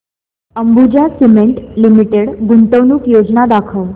Ambuja cement limited गुंतवणूक योजना दाखव